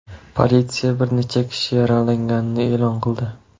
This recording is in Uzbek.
Politsiya bir necha kishi yaralanganini e’lon qildi.